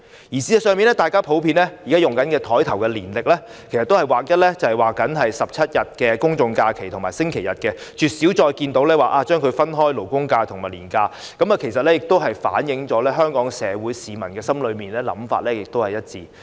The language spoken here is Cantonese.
事實上，現時大家普遍使用的座檯年曆上，都會劃一標示17天公眾假期和星期日，絕少分開標示勞工假期或銀行假期，這亦反映了香港社會上市民的想法是一致的。